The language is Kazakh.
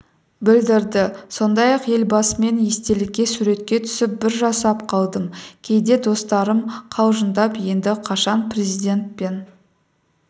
білдірді сондай-ақ елбасымен естелікке суретке түсіп бір жасап қалдым кейде достарым қалжыңдап енді қашан президентпен